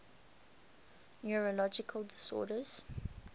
neurological disorders